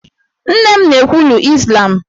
Nne m na-ekwulu Izlam